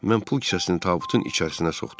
Mən pul kisəsini tabutun içərisinə soxdum.